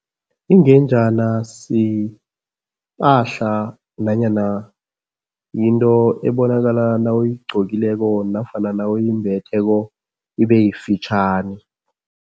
Ingenjana sipahla nanyana yinto ebonakala nawuyigcokileko nofana nawuyimbetheko, ibe yifitjhani.